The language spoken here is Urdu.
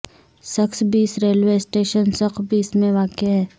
سکھ بیس ریلوے اسٹیشن سکھ بیس میں واقع ہے